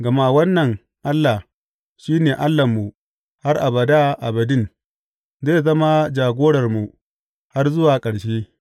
Gama wannan Allah shi ne Allahnmu har abada abadin; zai zama jagorarmu har zuwa ƙarshe.